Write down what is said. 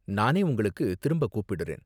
நானே உங்களுக்கு திரும்ப கூப்பிடுறேன்.